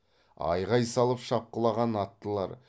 айғай салып шапқылаған аттылар